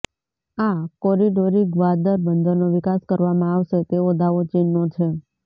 આ કોરીડોરી ગ્વાદર બંદરનો વિકાસ કરવામાં આવશે તેવો દાવો ચીનનો છે